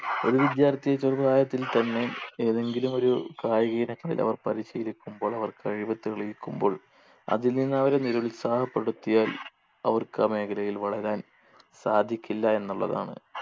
ഒരു വിദ്യാർത്ഥി ചെറുപ്രായത്തിൽ തന്നെ ഏതെങ്കിലും ഒരു കായിക ഇനങ്ങളിൽ അവർ പരിശീലിക്കുമ്പോൾ അവർ കഴിവ് തെളിയിക്കുമ്പോൾ അതിൽ നിന്ന് അവരെ നിരുത്സാഹപ്പെടുത്തിയാൽ അവർക്ക് ആ മേഖലയിൽ വളരാൻ സാധിക്കില്ല എന്നുള്ളതാണ്